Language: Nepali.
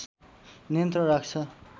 नियन्त्रण राख्छ